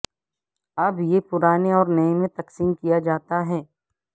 اب یہ پرانے اور نئے میں تقسیم کیا جاتا ہے